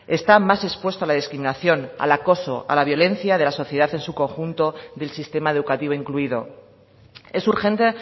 está más expuesto a la discriminación al acoso a la violencia de la sociedad en su conjunto del sistema educativo incluido es urgente